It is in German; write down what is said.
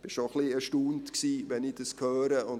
Ich war schon ein wenig erstaunt, als ich dies gehört habe.